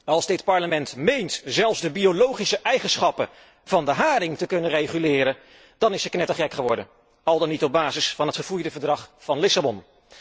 Als dit Parlement meent zelfs de biologische eigenschappen van de haring te kunnen reguleren, dan is het knettergek geworden al dan niet op basis van het verfoeide Verdrag van Lissabon.